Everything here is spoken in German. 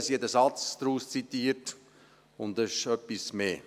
Sie hat einen Satz daraus zitiert, es ist aber etwas mehr.